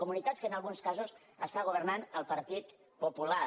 comunitats en què en alguns casos està governant el partit popular